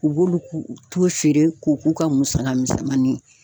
U b'olu t'u feere ko k'u ka musaka misɛnmanin.